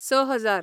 स हजार